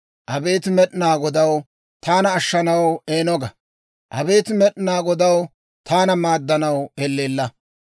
Abeet Med'inaa Godaw, taana ashshanaw eeno ga; abeet Med'inaa Godaw, taana maaddanaw elleella.